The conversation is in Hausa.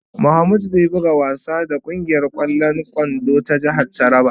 ""Mamud zai buga wasa da kungiyar kwallon kwando ta jihar Taraba ."